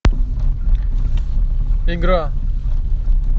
игра